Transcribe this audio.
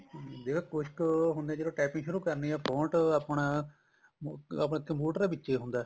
ਹਮ ਜਿਹੜੇ ਕੁੱਝ ਕ ਹੁੰਨੇ ਜਦੋਂ typing ਸ਼ੁਰੂ ਕਰਨੀ ਏ font ਆਪਣਾ ਆਪਾਂ computer ਦੇ ਵਿੱਚ ਈ ਹੁੰਦਾ